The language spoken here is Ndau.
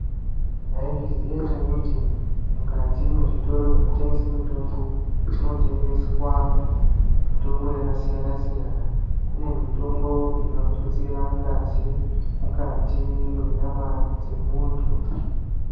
Maizviziya here kuti mukati mezvibhedhlera zvinotengesa mitombo kunotengeswa mitombo yakasiyana siyana kune mitombo inotutsira ngazi mukati menyama dzemuntu.